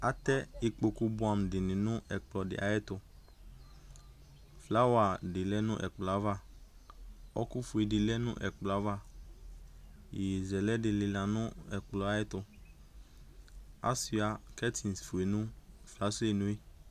zAtɛ ikpoku bʋɛ amʋ dɩnɩ nʋ ɛkplɔ ayɛtʋFlower dɩ lɛ nʋ ɛkplɔ yɛ ava, ɔɔkʋ fue dɩ lɛ nʋ ɛkplɔ yɛ ava, iyeyezɛlɛ dɩ lɩla nʋ ɛkplɔ yɛtʋ Asiua curtain fue nʋ fasrenʋ yɛ